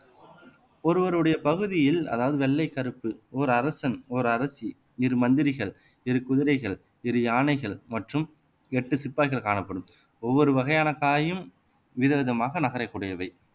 ஒருவருடைய பகுதியில் அதாவது வெள்ளைக் கருப்பு ஒரு அரசன் ஒரு அரசி இரு மந்திரிகள் இரு குதிரைகள் இரு யானைகள் மற்றும் எட்டு சிப்பாய்கள் காணப்படும் ஒவ்வொரு வகையான காயும் விதவிதமாக நகரக்கூடியவை